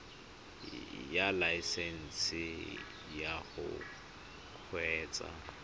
ya laesesnse ya go kgweetsa